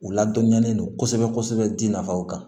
U ladɔnɲɛlen don kosɛbɛ kosɛbɛ ji nafaw kan